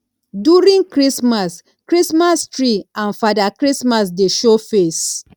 during christmas christmas tree and fada christmas dey show face